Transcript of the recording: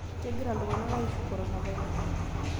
Kegira ltung'anak aishiu korona virus